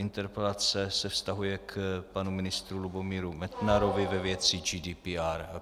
Interpelace se vztahuje k panu ministru Lubomíru Metnarovi ve věci GDPR.